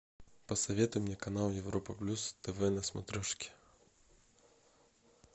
посоветуй мне канал европа плюс тв на смотрешке